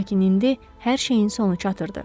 Lakin indi hər şeyin sonu çatırdı.